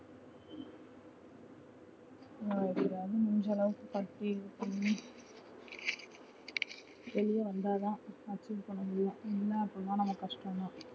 நா எப்படியாவது முடிஞ்ச அளவுக்கு கட்டி வெளிய வந்ததா அடுத்தது பண்ணமுடியும் இல்ல அப்டினா கஷ்டம் தான்